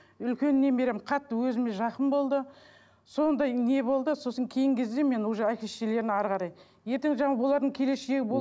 үлкен немерем қатты өзіме жақын болды сондай не болды сосын кейінгі кезде мен уже әке шешелеріне әрі қарай ертең жаңағы олардың келешегі